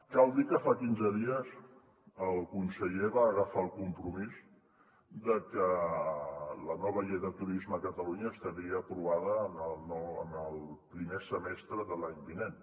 cal dir que fa quinze dies el conseller va agafar el compromís de que la nova llei de turisme a catalunya estaria aprovada en el primer semestre de l’any vinent